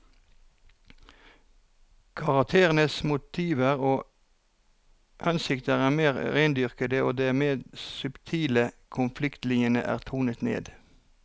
Karakterenes motiver og hensikter er mer rendyrkede, og de mer subtile konfliktlinjene er tonet ned.